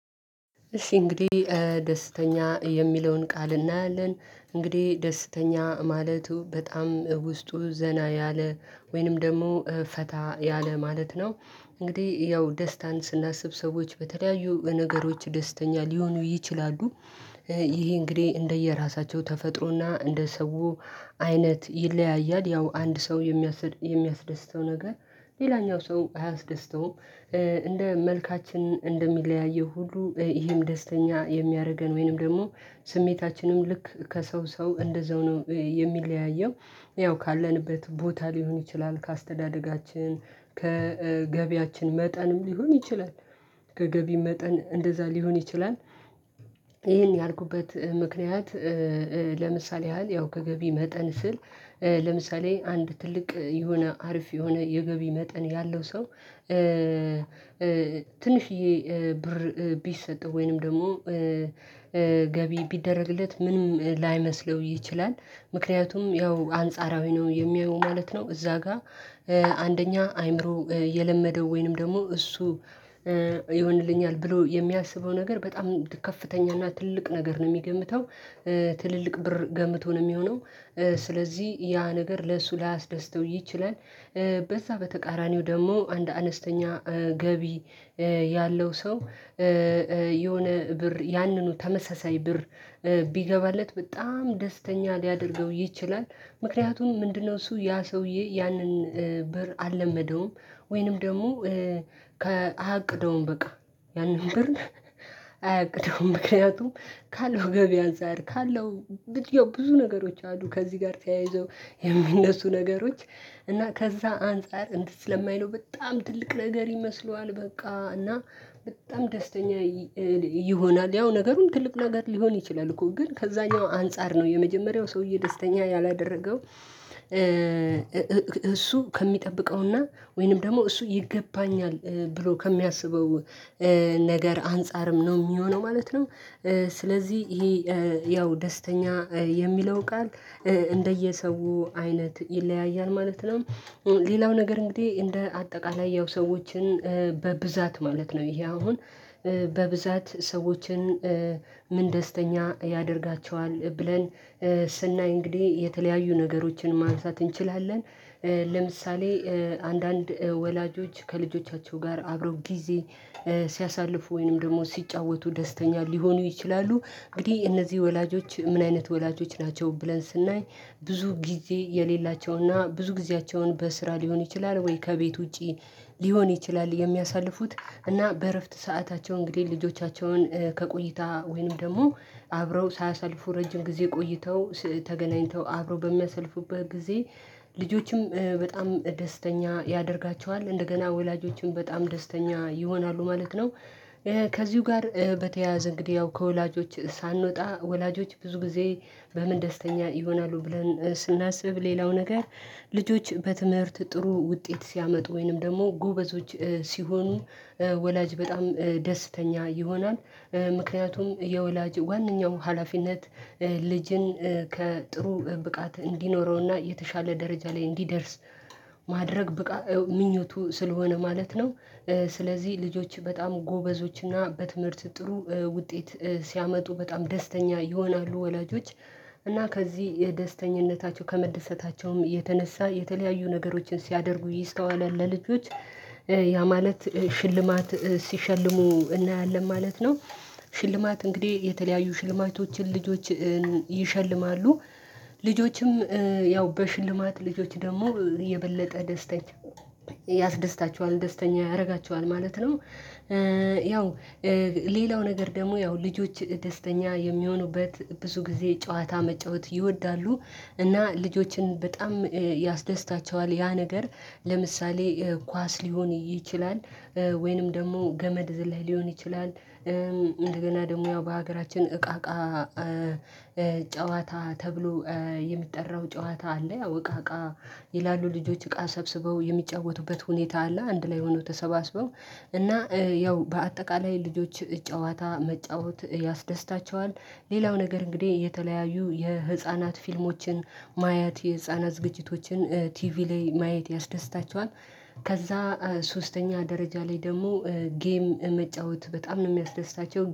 እሺ እንግዲህ ደስተኛ የሚለውን ቃል እናያለን እንግዲህ ደስተኛ ማለቱ በጣም ውስጡ ዘና ያለ ወይንም ደግሞ ፈታ ያለ ማለት ነው። እንግዲህ ያው ደስታን ስናስብ ሰዎች በተለያዩ ነገሮች ደስተኛ ሊሆኑ ይችላሉ። ይሄ እንግዲህ እንደየራሳቸው ተፈጥሮና እንደ ሰው አይነት ይለያያል። ያው አንድ ሰው የሚያስደስተው ነገር ሌላኛው ሰው አያስደስተውም። እንደ መልካችን እንደሚለያየው ሁሉ ይሄም ደስተኛ የሚያደርገን ወይንም ደግሞ ስሜታችንም ልክ ከሰው ሰው እንደዛው ነው የሚለያየው። ያው ካለንበት ቦታ ሊሆን ይችላል ከአስተዳደጋችን ከገቢያችን መጠንም ሊሆን ይችላል። ከገቢ መጠን እንደዛ ሊሆን ይችላል። ይሄን ያልኩበት ምክንያት ለምሳሌ ያህል ያው ከገቢ መጠን ስል ለምሳሌ አንድ ትልቅ የሆነ አሪፍ የሆነ የገቢ መጠን ያለው ሰው ትንሽዬ ብር ቢሰጥ ወይንም ደግሞ ገቢ ቢደረግለት ምንም ላይመስለው ይችላል። ምክንያቱም ያው አንጻራዊ ነው የሚያየው ማለት ነው። እዛ ጋር አንደኛ አአምሮ የለመደው ወይንም ደግሞ እሱ ይሆንልኛል ብሎ የሚያስበው ነገር በጣም ከፍተኛ እና ትልቅ ነገር ነው የሚገምተው። ትልልቅ ብር ገምቶ ነው የሚሆነው። ስለዚህ ያ ነገር ለእሱ ላያስደስተው ይችላል። በዛ በተቃራኒው ደግሞ አንድ አነስተኛ ገቢ ያለው ሰው የሆነ ብር ያንኑ ተመሳሳይ ብር ቢገባለት በጣም ደስተኛ ሊያደርገው ይችላል። ምክንያቱም ምንድነው እሱ ያ ሰውዬ ያንን ብር አልለመደውም። ወይንም ደግሞ አያቅደውም በቃ ያንን ብር አያቅደውም። ምክንያቱም ካለው ገቢ አንፃር ካለው ብዙ ነገሮች አሉ ከዚህ ጋር ተያይዘው የሚነሱ ነገሮች እና ከዛ አንፃር እንትን ስለማይለው በጣም ትልቅ ነገር ይመስለዋል በቃ እና በጣም ደስተኛ ይሆናል። ያው ነገሩን ትልቅ ነገር ሊሆን ይችላል እኮ ግን ከዛኛው አንፃር ነው የመጀመሪያው ሰውዬ ደስተኛ ያላደረገው። እሱ ከሚጠብቀውና ወይንም ደግሞ እሱ ይገባኛል ብሎ ከሚያስበው ነገር አንፃርም ነው የሚሆነው ማለት ነው። ስለዚህ ይሄ ያው ደስተኛ የሚለው ቃል እንደየሰው አይነት ይለያያል ማለት ነው። ሌላው ነገር እንግዲህ እንደ አጠቃላይ ያው ሰዎችን በብዛት ማለት ነው ይሄ አሁን በብዛት ሰዎችን ምን ደስተኛ ያደርጋቸዋል ብለን ስናይ እንግዲህ የተለያዩ ነገሮችን ማንሳት እንችላለን። ለምሳሌ አንዳንድ ወላጆች ከልጆቻቸው ጋር አብረው ጊዜ ሲያሳልፉ ወይንም ደግሞ ሲጫወቱ ደስተኛ ሊሆኑ ይችላሉ። እንግዲህ እነዚህ ወላጆች ምን አይነት ወላጆች ናቸው ብለን ስናይ ብዙ ጊዜ የሌላቸውና ብዙ ጊዜያቸውን በስራ ሊሆን ይችላል ወይ ከቤት ውጪ ሊሆን ይችላል የሚያሳልፉት እና በእረፍት ሰዓታቸው እንግዲህ ልጆቻቸውን ከቆይታ ወይንም ደግሞ አብረው ሳያሰልፉ ረጅም ጊዜ ቆይተው ተገናኝተው አብረው በሚያሰልፉበት ጊዜ ልጆችም በጣም ደስተኛ ያደርጋቸዋል እንደገና ወላጆችም በጣም ደስተኛ ይሆናሉ ማለት ነው። ከዚሁ ጋር በተያያዘ እንግዲህ ያው ከወላጆች ሳንወጣ ወላጆች ብዙ ጊዜ በምን ደስተኛ ይሆናሉ ብለን ስናስብ ሌላው ነገር ልጆች በትምህርት ጥሩ ውጤት ሲያመጡ ወይንም ደግሞ ጎበዞች ሲሆኑ ወላጅ በጣም ደስተኛ ይሆናል። ምክንያቱም የወላጅ ዋንኛው ሀላፊነት ልጅን ጥሩ ብቃት እንዲኖረውና የተሻለ ደረጃ ላይ እንዲደርስ ማድረግ ብቃ ምኞቱ ስለሆነ ማለት ነው። ስለዚህ ልጆች በጣም ጎበዞች እና በትምህርት ጥሩ ውጤት ሲያመጡ በጣም ደስተኛ ይሆናሉ። ወላጆች እና ከዚህ የደስተኝነታቸው ከመደሰታቸውም የተነሳ የተለያዩ ነገሮችን ሲያደርጉ ይስተዋላል ለልጆች ያ ማለት ሽልማት ሲሸልሙ እናያለን ማለት ነው። ሽልማት እንግዲህ የተለያዩ ሽልማቶችን ልጆችን ይሸልማሉ። ልጆችም ያው በሽልማት ልጆች ደግሞ የበለጠ ደስተኛ ያስደስታቸዋል ደስተኛ ያደርጋቸዋል ማለት ነው። ያው ሌላው ነገር ደግሞ ያው ልጆች ደስተኛ የሚሆኑበት ብዙ ጊዜ ጨዋታ መጫወት ይወዳሉ። እና ልጆችን በጣም ያስደስታቸዋል ያ ነገር ለምሳሌ ኳስ ሊሆን ይችላል። ወይንም ደግሞ ገመድ ዝላይ ሊሆን ይችላል። እንደገና ደግሞ ያው በሀገራችን እቃ እቃ ጨዋታ ተብሎ የሚጠራው ጨዋታ አለ። ያው እቃ እቃ ይላሉ ልጆች እቃ ሰብስበው የሚጫወቱበት ሁኔታ አለ። አንድ ላይ ሆኖ ተሰባስበው እና ያው በአጠቃላይ ልጆች ጨዋታ መጫወት ያስደስታቸዋል። ሌላው ነገር እንግዲህ የተለያዩ የህፃናት ፊልሞችን ማየት የህፃናት ዝግጅቶችን ቲቪ ላይ ማየት ያስደስታቸዋል። ከዛ ሶስተኛ ደረጃ ላይ ደግሞ ጌም መጫወት በጣም ነው የሚያስደስታቸው